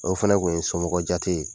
O fana kun ye somɔgɔjate ye.